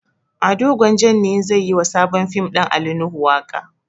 Ado gwanjan ne zai yi wa sabon fim ɗin ali nuhu waƙa